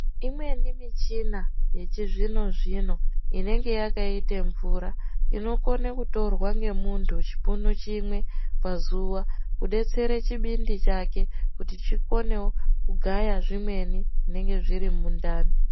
Imweni michina yechizvino-zvino, inenge yakaite mvura, inokone kutorwa ngemuntu chipunu chimwe pazuwa , kudetsere chibindi chake kuti chikonewo kugaya zvimweni ,zvinenge zviri mundani.